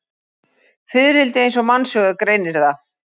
Fiðrildi eins og mannsaugað greinir það.